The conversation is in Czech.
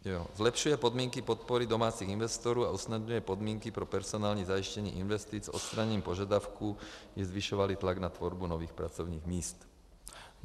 Zlepšuje podmínky podpory domácích investorů a usnadňuje podmínky pro personální zajištění investic odstraněním požadavků, aby zvyšovaly tlak na tvorbu nových pracovních míst.